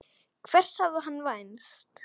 Hvers hafði hann vænst?